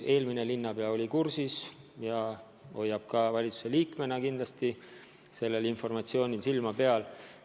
Eelmine linnapea oli samuti kursis ja hoiab ka valitsuse liikmena kindlasti sellel informatsioonil silma peal.